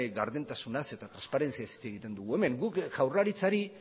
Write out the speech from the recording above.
gardentasunaz eta transparentziaz hitz egiten dugu hemen guk jaurlaritzari